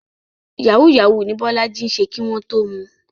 Yahoo yahoo ní Bọ́lájí ń ṣe kí wọ́n tó mu.